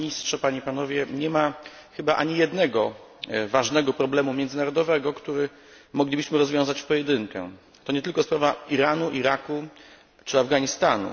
Nie ma chyba ani jednego ważnego problemu międzynarodowego, który moglibyśmy rozwiązać w pojedynkę. To nie tylko sprawa Iranu, Iraku czy Afganistanu.